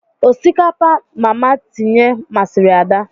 Osikapa mama tinye masịrị Ada.